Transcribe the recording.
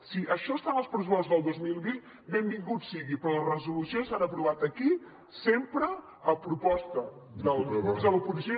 si això està en els pressupostos del dos mil vint benvingut sigui però les resolucions s’han aprovat aquí sempre a proposta dels grups de l’oposició